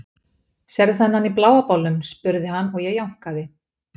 Sérðu þennan í bláa bolnum? spurði hann og ég jánkaði.